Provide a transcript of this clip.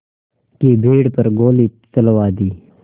की भीड़ पर गोली चलवा दी